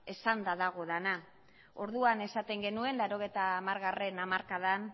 esanda dago dena orduan esaten genuen mila bederatziehun eta laurogeita hamargarrena hamarkadan